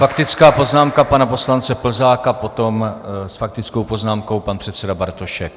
Faktická poznámka pana poslance Plzáka, potom s faktickou poznámkou pan předseda Bartošek.